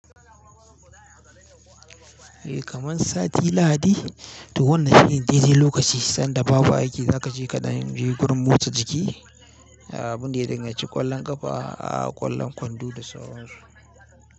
Eh kaman sati lahadi, to wannan shine daidai lokaci sanda babu aiki za ka je kaɗan je gurin motsa jiki. A abin da ya danga ci ƙwallan ƙafa, a ƙwallan kwando da sauransu.